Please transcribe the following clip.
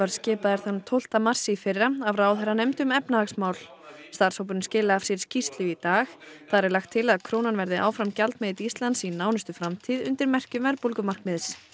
skipaður þann tólfta mars í fyrra af ráðherranefnd um efnahagsmál starfshópurinn skilaði af sér skýrslu í dag þar er lagt til að krónan verði áfram gjaldmiðill Íslands í nánustu framtíð undir merkjum verðbólgumarkmiðs